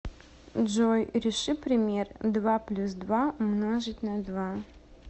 джой реши пример два плюс два умножить на два